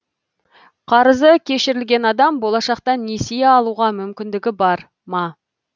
қарызы кешірілген адам болашақта несие алуға мүмкіндігі бар ма